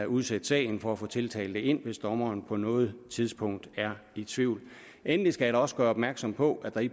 udsætte sagen for at få tiltalte ind hvis dommeren på noget tidspunkt er i tvivl endelig skal også gøre opmærksom på at der i